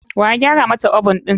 Waya gyara mata oven ɗin?